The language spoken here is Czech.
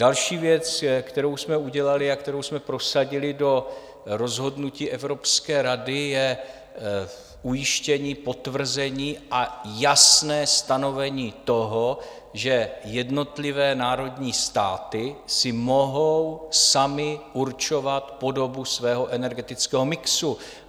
Další věc, kterou jsme udělali a kterou jsme prosadili do rozhodnutí Evropské rady, je ujištění, potvrzení a jasné stanovení toho, že jednotlivé národní státy si mohou samy určovat podobu svého energetického mixu.